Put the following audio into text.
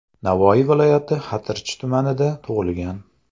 Navoiy viloyati Xatirchi tumanida tug‘ilgan.